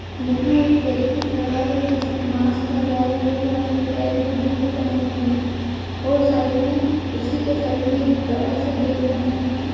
यहाँ एक व्यक्ति खड़ा है जिसने मास्क लगाए हुआ है पैर में बूट पहने हुए है और साइड में उसी के साइड में एक बड़ा सा गेट बना है।